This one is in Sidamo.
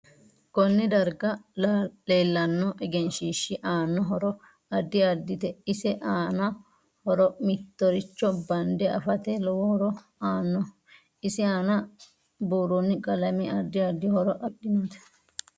Konne darga leelanno egenshiishi aano horo addi addite isi aano horo mitoricho bande afate lowo horo aanno isi aana buroni qalame addi addi horo afidhinote